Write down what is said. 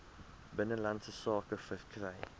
binnelandse sake verkry